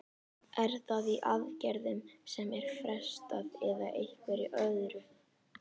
Er það í aðgerðum sem er frestað eða einhverju öðru?